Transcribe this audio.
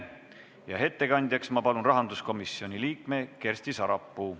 Ma palun ettekandjaks rahanduskomisjoni liikme Kersti Sarapuu.